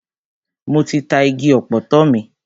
Mo ti ta igi ọ̀pọ̀tọ́ mi.